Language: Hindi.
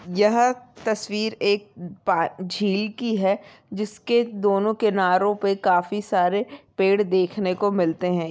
यह तस्वीर एक पा-झील की है जिसके दोनों किनारों पे काफी सारे पेड़ देखने को मिलते हैं।